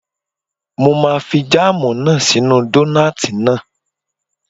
Mo máa fi jáàmù náà sí inú dónààtì náà